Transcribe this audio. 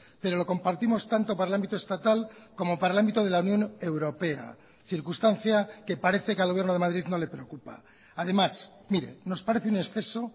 pero lo compartimos tanto para el ámbito estatal como para el ámbito de la unión europea circunstancia que parece que al gobierno de madrid no le preocupa además mire nos parece un exceso